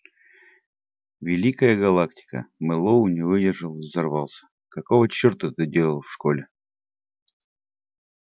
великая галактика мэллоу не выдержал и взорвался какого чёрта ты делал в школе